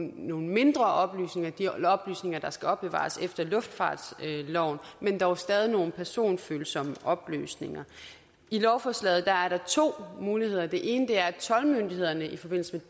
nogle mindre oplysninger de oplysninger der skal opbevares efter luftfartsloven men dog stadig nogle personfølsomme oplysninger i lovforslaget er er der to muligheder den ene er at toldmyndighederne i forbindelse